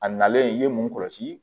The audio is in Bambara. A nalen i ye mun kɔlɔsi